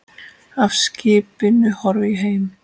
Af skipinu horfi ég heim.